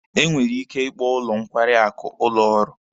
E nwere ike ịkpọ ụlọ nkwarị akụ ụlọ ọrụ.